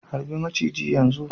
harbi maciji yanzu